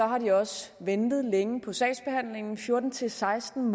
har de også ventet længe på sagsbehandling der er fjorten til seksten